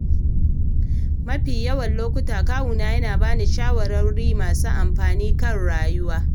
A mafi yawan lokuta, kawuna yana ba ni shawarwari masu amfani kan rayuwa.